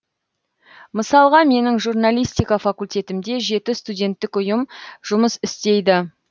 мысалға менің журналистика факультетімде жеті студенттік ұйым жұмыс істейді